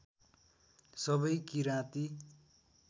सबै किराँती